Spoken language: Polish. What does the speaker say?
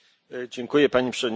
Pani Przewodnicząca!